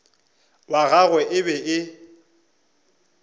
wa gagwe e be e